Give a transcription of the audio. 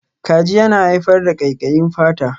Kaji yana haifar da ƙaiƙayi fata.